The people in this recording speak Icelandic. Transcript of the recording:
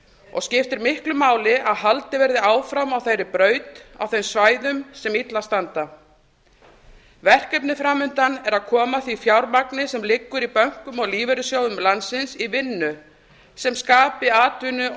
og skiptir miklu máli að haldið verði áfram á þeirri braut á þeim svæðum sem illa standa verkefnið framundan er að koma því fjármagni sem liggur í bönkum og lífeyrissjóðum landsins í vinnu sem skapi atvinnu og